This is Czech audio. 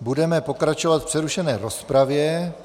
Budeme pokračovat v přerušené rozpravě.